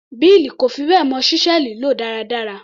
Bill kò fi bẹ́ẹ̀ mọ ṣísẹ́ẹ̀lì lò dáradára.